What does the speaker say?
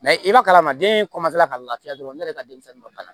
i ma kalan maa den ka lafiya dɔrɔn ne yɛrɛ ka denmisɛnnin ma ban